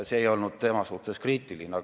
See ei olnud tema suhtes kriitiline.